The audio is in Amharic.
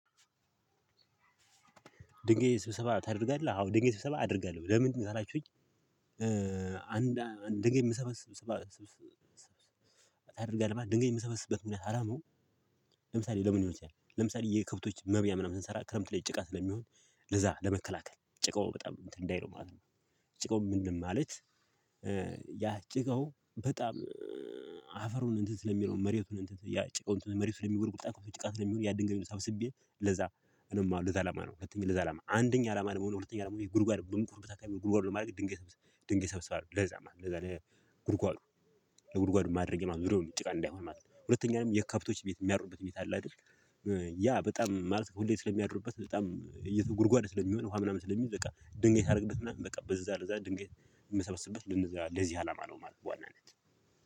ድንገት ስብሰባ ታደርጋለህ አዎ ድንገት ስብሰባ አደርጋለሁ ለምን ካላችሁኝ? አንድ ድንገት ምስብስብ ስብስባ ታደርጋለህ ድንገት የምሰበስበት ምክንያት አላማ። ለምሳሌ ለምን ለምሳሌ የከብቶች መብያ ምናምን ስንሰራ ክረምት ላይ ጭቃ ስለሚሆን ለዛ ለመከላከል ጭቃው በጣም እንትን እንዳይለው ማለት ነው። ጭቃው ምንም ማለት። ያ ጭቃው በጣም አፈሩን እንትን ስለሚለው መሬቱን እንትን ያ ጭቃው መሬቱን ስለሚጉደጉድ ጭቃ ለሚሆን ያ ድንጋይ ሰብስቤ ለዛ ነው አላማ ለዛ አላማ ነው። ሁለተኛ ለዛ አላማ አንደኛ አላማ ነው ሁለተኛ አላማ ነው ጉድጓድ። ጉድጓድ ለማድረግ ድንጋይ ድንጋይ ሰብስባለሁ ለዛ ማለት ነው። ለዛ ለጉድጓዱ ለጉድጓዱ ማድረግ የማይችል የሆነ ዙርያውን ጭቃ እንዳይሆን ማለት ነው። ሁለተኛው የከብቶች ቤት የሚያደርበት ቤት አለ አይደል? ያ በጣም ማለት ሁሌ ስለሚያድሩበት በጣም ጉድጓድ ስለሚሆን ውሃ ምናምን ስለሚይዝ በቃ ድንጋይ ሳድርግበት ምናምን በቃ በዛ ለዛ ድንጋይ የምሰበስበት ለዚህ አላማ ነው። ማለት በዋናነት